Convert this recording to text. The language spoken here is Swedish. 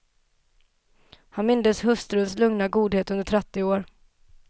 Han mindes hustruns lugna godhet under trettio år.